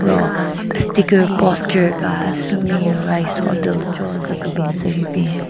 lo sticker poster ka sumi rice hotel cho zu kebin tsü hyu bin.